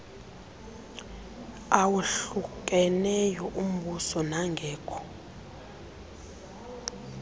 awahlukeneyo ombuso nangekho